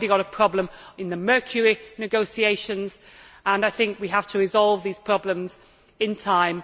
We already have a problem in the mercury negotiations, and I think we have to resolve these problems in time.